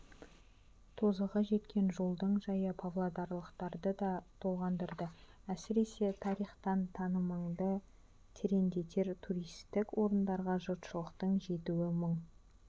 тозығы жеткен жолдың жайы павлодарлықтарды да толғандырады әсіресе тарихтан танымыңды тереңдетер туристік орындарға жұртшылықтың жетуі мұң